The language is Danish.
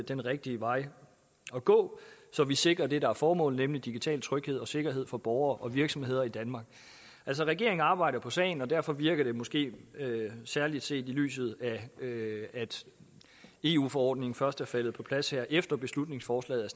den rigtige vej at gå så vi sikrer det der er formålet nemlig digital tryghed og sikkerhed for borgere og virksomheder i danmark regeringen arbejder på sagen og derfor virker det måske særlig set i lyset af at eu forordningen først er faldet på plads efter beslutningsforslaget er